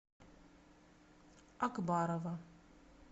акбарова